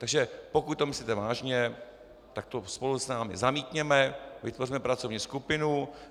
Takže pokud to myslíte vážně, tak to spolu s námi zamítněte, vytvořme pracovní skupinu.